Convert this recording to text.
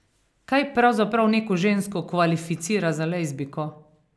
Kaj pravzaprav neko žensko kvalificira za lezbijko?